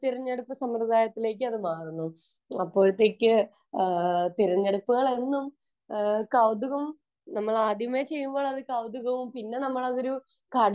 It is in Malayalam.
വേറെ ഒരു തിരഞ്ഞെടുപ്പ് സമ്പ്രദായത്തിലേക്ക് അത് മാറുന്നു .അപ്പോഴത്തേക്ക് തിരഞ്ഞെടുപ്പ് വരുന്നു കൗതുകം നമ്മൾ ആദ്യമായി ചെയ്യുമ്പോൾ അതൊരു കൗതുകവും പിന്നെ ഒരു